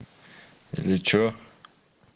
или что